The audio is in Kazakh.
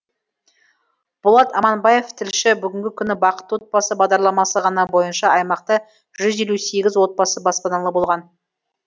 болат аманбаев тілші бүгінгі күні бақытты отбасы бағдарламасы ғана бойынша аймақта жүз елу сегіз отбасы баспаналы болған